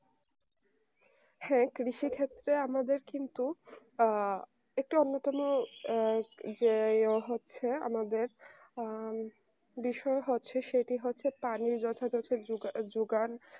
হ্যাঁ কৃষি ক্ষেত্রে আমাদের কিন্তু একটু অন্যতম ইয়ে হচ্ছে যে আমাদের বিষয় হচ্ছে সেটি হচ্ছে পানি যথা জোগাড়